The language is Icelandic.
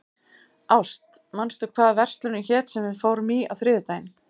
Ást, manstu hvað verslunin hét sem við fórum í á þriðjudaginn?